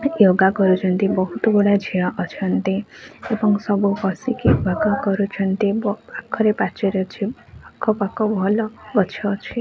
ୟୋଗା କରୁଚନ୍ତି ବହୁତ ଗୁଡେ ଝିଅ ଅଛନ୍ତି ଏବଂ ସବୁ ବସିକି ୟୋଗା କରୁଛନ୍ତି ଏବଂ ପାଖରେ ପାଚେରୀ ଅଛି ଆଖ ପାଖ ଭଲ ଗଛ ଅଛି।